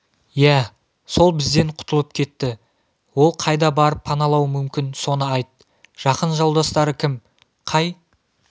иә сол бізден құтылып кетті ол қайда барып паналауы мүмкін соны айт жақын жолдастары кім қай